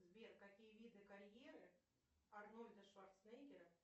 сбер какие виды карьеры арнольда шварценеггера